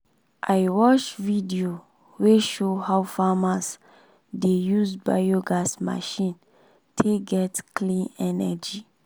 i watch video wey show how farmers dey use biogas machine take get clean energy.